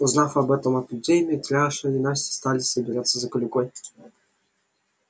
узнав об этом от людей митраша и настя стали собираться за клюквой